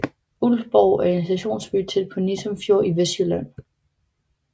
Ulfborg er en stationsby tæt ved Nissum Fjord i Vestjylland